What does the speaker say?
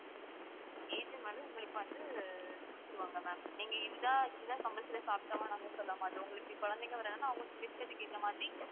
agent வந்து உங்களுக்கு வந்து கொடுத்துடுவாங்க ma'am நீங்க இதுதான் இதுதான் compulsory யா சாப்பிட்டு ஆகணும்ன்னு நாங்க சொல்லமாட்டோம் உங்களுக்கு குழந்தைங்க வர்றாங்கன்னா அவங்க விருப்பத்துக்கு ஏத்த மாதிரி